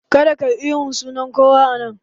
Kada kayi ihun sunan kowa a nan!